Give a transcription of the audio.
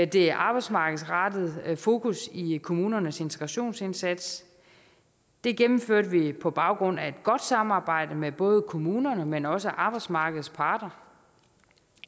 det arbejdsmarkedsrettede fokus i kommunernes integrationsindsats det gennemførte vi på baggrund af et godt samarbejde med både kommunerne men også med arbejdsmarkedets parter